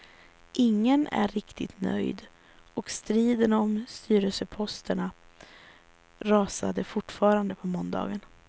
Ingen är riktigt nöjd och striden om styrelseposterna rasade fortfarande på måndagen.